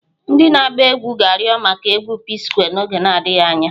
Ndị na-agba egwu ga-arịọ maka egwu P-Square n'oge adịghị anya.